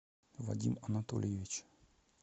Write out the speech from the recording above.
вадим анатольевич